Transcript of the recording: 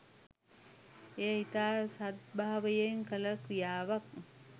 එය ඉතා සද්භාවයෙන් කල ක්‍රියාවක්